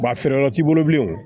a feereyɔrɔ t'i bolo bilen o